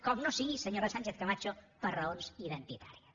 com no sigui senyora sánchez camacho per raons identitàries